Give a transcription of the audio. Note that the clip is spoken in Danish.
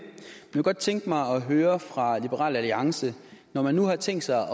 kunne godt tænke mig at høre fra liberal alliance når man nu har tænkt sig